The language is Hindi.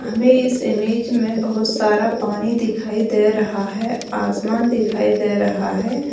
हमें इस इमेज में बहुत सारा पानी दिखाई दे रहा है आसमान दिखाई दे रहा है।